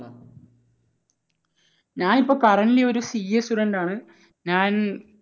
ഞാനിപ്പോൾ currently ഒരു CA Student ആണ്. ഞാൻ